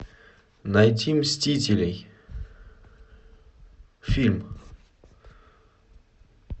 найти мстителей фильм